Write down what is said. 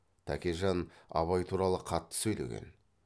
тәкежан абай туралы қатты сөйлеген